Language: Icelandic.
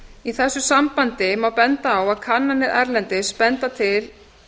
í þessu sambandi má benda á að kannanir erlendis benda til